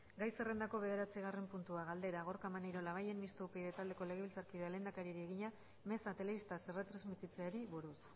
gai zerrendako bederatzigarren puntua galdera gorka maneiro labayen mistoa upyd taldeko legebiltzarkideak lehendakariari egina meza telebistaz erretransmititzeari buruz